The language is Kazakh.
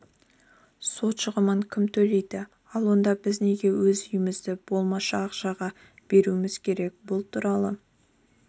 сот шығынын кім төлейді ал онда біз неге өз үйімізді болмашы ақшаға беруіміз керек бұл туралы